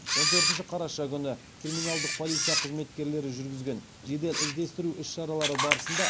он төртінші қараша күні криминалдық полиция қызметкерлері жүргізген жедел іздестіру іс шаралары барысында